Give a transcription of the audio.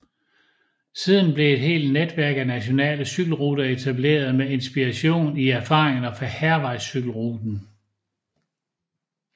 Siden blev et helt netværk af nationale cykelruter etableret med inspiration i erfaringerne fra Hærvejscykelruten